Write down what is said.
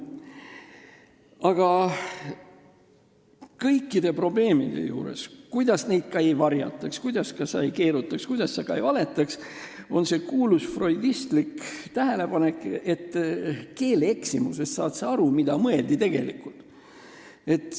Aga kõikide probleemide puhul, kuidas neid ka ei varjataks, kuidas ka ei keerutataks, kuidas ka ei valetataks, kehtib see kuulus freudistlik tähelepanek, et keelevääratusest saad sa aru, mida mõeldi tegelikult.